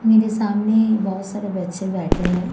मेरे सामने बहोत सारे बच्चे बैठे है।